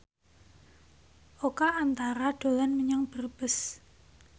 Oka Antara dolan menyang Brebes